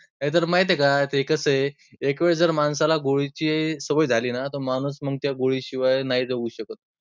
नाहीतर माहीत आहे का? ते कसं आहे? एकवेळ जर माणसाला गोळीची सवय झाली ना तर माणूस मग त्या गोळी शिवाय नाही जगू शकत.